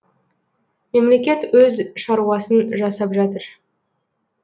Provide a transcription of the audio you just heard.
мемлекет өз шаруасын жасап жатыр